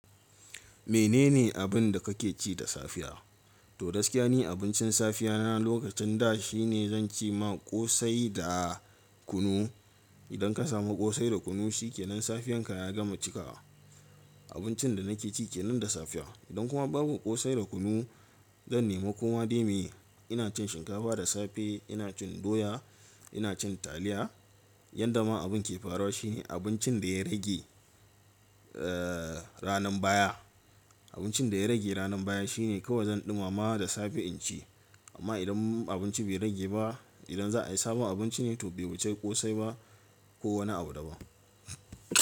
Menene abin da kake ci da safiya? To gaskiya ni abincin safiya na lokacin da shi ne zan ci ma ƙosai da kunu. Idan ka samu ƙosai da kunu shi ke nan safiyan ka ya gama cika. Abincin da nake ci ke nan da safiya. Idan kuma babu ƙosai da kunu, zan nema koma dai meye. Ina cin shinkafa da safe, ina cin doya, ina cin taliya. Yadda ma abun ke farawa shi abincin da ya rage, eh, ranar baya. Abincin da ya rage ranar baya shi ne kawai zan ɗumama da safe in ci. Amma idan abinci bai rage ba, idan za a yi sabon abinci ne to bai wuce ƙosai ba ko wani abu daban.